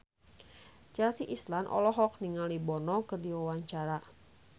Chelsea Islan olohok ningali Bono keur diwawancara